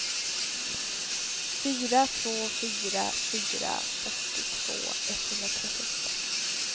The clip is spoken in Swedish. fyra två fyra fyra fyrtiotvå etthundratrettioåtta